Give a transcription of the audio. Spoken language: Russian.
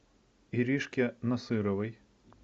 иришке насыровой